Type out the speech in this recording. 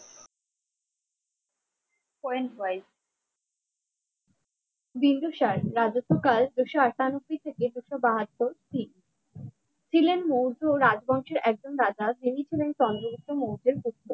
বিন্দুসার রাজত্বকাল দুশ আটানব্বই থেকে দুশ বাহাত্তর ঠিক ছিলেন মৌর্য রাজবংশের একজন রাজা তিনি ছিলেন চন্দ্রগুপ্ত মৌর্যের একজন পুত্র